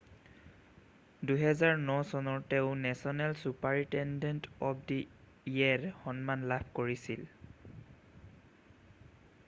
2009 চনৰ তেওঁ national superintendent of the year সন্মান লাভ কৰিছিল